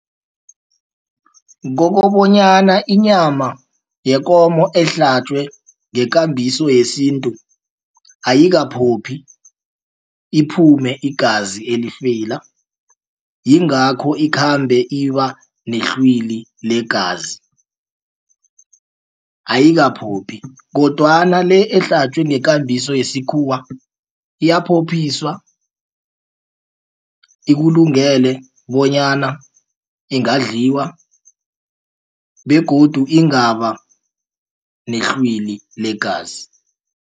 Kokobonyana inyama yekomo ehlatjwe ngekambiso yesintu ayikaphophi iphume igazi elifeyila. Yingakho ikhambe ibanehlwili legazi ayikaphophi kodwana le ehlatjwe ngekambiso yesikhuwa iyaphophiswa ikulungele bonyana ingadliwa begodu ingaba nehlwili legazi.